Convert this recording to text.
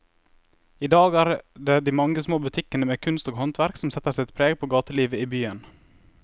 I dag er det de mange små butikkene med kunst og håndverk som setter sitt preg på gatelivet i byen.